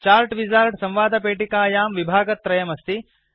chart wizard संवादपेटिकायां विभागत्रयम् अस्ति